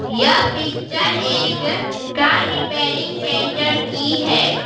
यह पिक्चर एक car repairing centre की है।